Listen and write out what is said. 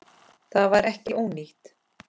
Það var ekki ónýtt.